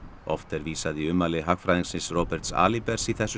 oft er vísað í ummæli hagfræðingsins Roberts Alibers í þessu